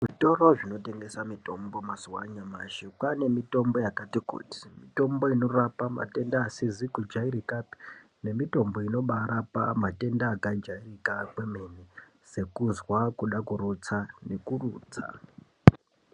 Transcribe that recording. Zvitoro zvinotengesa mutombo mazuwa anyamashi kwane mitombo yakati kuti miyombo inorapa matenda asizi kujairika pe nemitombo inobaa rapa matenda akabaa jairika kwemene sekuzwa kude kurutsa nekurutsa.